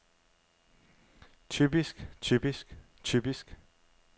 typisk typisk typisk